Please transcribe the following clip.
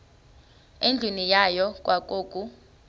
endlwini yayo kwakukho